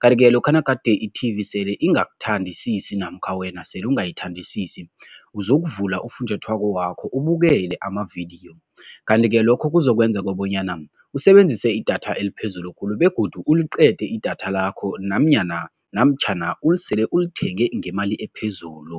kanti-ke lokha nagade i-T_V sele ingakuthandisisi namkha wena sele ungayithandisisi, uzokuvula ufunjathwako wakho ubukele amavidiyo kanti-ke lokho kuzokwenza kobonyana usebenzise idatha eliphezulu khulu begodu uliqede idatha lakho namnyana namtjhana ulisele ulithenge ngemali ephezulu.